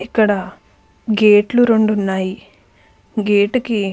ఇక్కడ గేట్ లు రెండు ఉన్నాయి గేట్ కి --